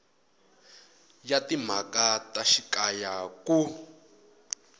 ya timhaka ta xikaya ku